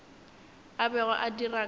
a bego a dira ka